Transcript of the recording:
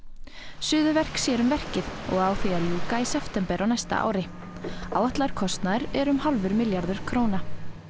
Suðurverk sér um verkið og á því að ljúka í september á næsta ári áætlaður kostnaður er um hálfur milljarður króna